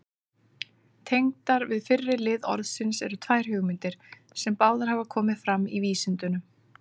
Tengdar við fyrri lið orðsins eru tvær hugmyndir, sem báðar hafa komið fram í vísindunum.